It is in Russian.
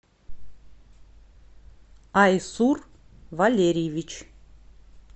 айсур валерьевич